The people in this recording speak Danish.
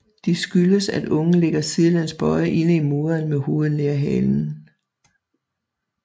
De skyldes at ungen ligger sidelæns bøjet inde i moderen med hovedet nær halen